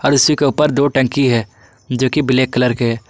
उसी के ऊपर दो टंकी है जो कि ब्लैक कलर के है।